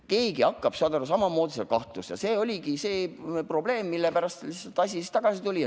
Keegi hakkab, saad aru, samamoodi kahtlustama ja see oligi see probleem, millepärast see asi siia tagasi tuli.